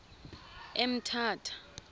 emthatha